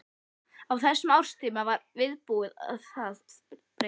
Á þessum árstíma var viðbúið að það breyttist.